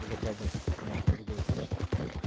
уже правда немножко другое качество